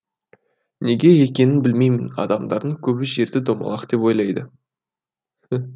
неге екенін білмеймін адамдардың көбі жерді домалақ деп ойлайды